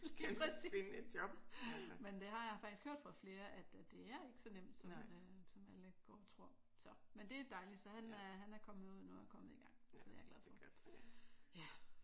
Lige præcis! Men det har jeg faktisk hørt fra flere at det er ikke så nemt som alle går og tror. Så men det er dejligt så han er han er kommet ud nu og er kommet i gang. Så det er jeg glad for